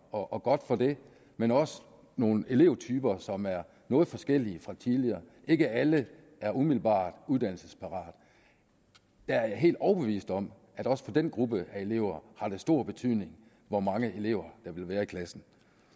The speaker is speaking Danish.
og godt for det men også nogle elevtyper som er noget forskellige fra tidligere ikke alle er umiddelbart uddannelsesparate jeg er helt overbevist om at også for den gruppe af elever har det stor betydning hvor mange elever der vil være i klassen